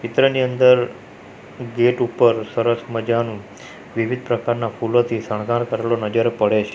ચિત્રની અંદર ગેટ ઉપર સરસ મજાનુ વિવિધ પ્રકારના ફૂલોથી શણગાર કરેલું નજર પડે છ --